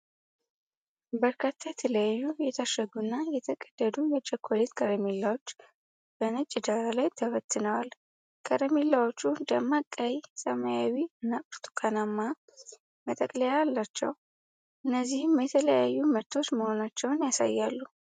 በርካታ የተለያዩ የታሸጉ እና የተቀደዱ የቸኮሌት ከረሜላዎች በነጭ ዳራ ላይ ተበትነዋል። ከረሜላዎቹ ደማቅ ቀይ፣ ሰማያዊ እና ብርቱካናማ መጠቅለያዎች አሏቸው። እነዚህም የተለያዩ ምርቶች መሆናቸውን ያሳያሉ።